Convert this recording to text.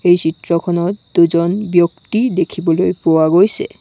এই চিত্ৰখনত দুজন ব্যক্তি দেখিবলৈ পোৱা গৈছে।